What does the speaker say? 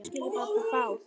Við erum kát.